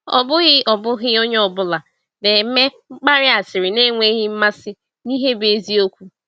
Ọ bụghị Ọ bụghị onye ọ bụla na-eme mkparị asịrị na-enweghị mmasị n’ihe bụ eziokwu.